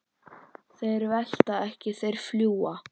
Þeir velta ekki, þeir fljúga.